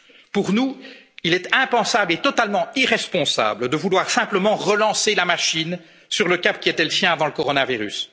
prendre. Pour nous, il est impensable et totalement irresponsable de vouloir simplement relancer la machine sur le cap qui était le sien avant